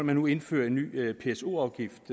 man nu indfører en ny pso afgift